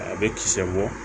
A bɛ kisɛ bɔ